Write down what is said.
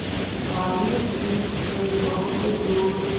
बालीद्वीप सें बहुत दूर